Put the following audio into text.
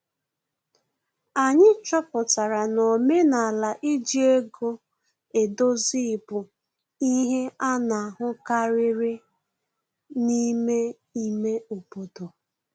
Anyị chọpụtara na omenala iji ego edozi bụ ihe ana ahụkarịrị n'ime ime obodo